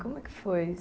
Como é que foi?